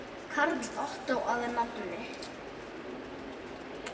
Karl Ottó að nafni.